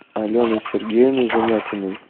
алены сергеевны замятиной